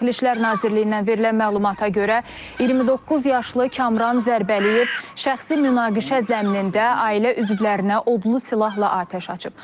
Daxili İşlər Nazirliyindən verilən məlumata görə, 29 yaşlı Kamran Zərbəliyev şəxsi münaqişə zəminində ailə üzvlərinə odlu silahla atəş açıb.